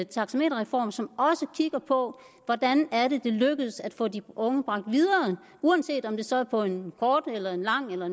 taxameterreform som også kigger på hvordan det lykkes at få de unge bragt videre uanset om det så er på en kort mellemlang eller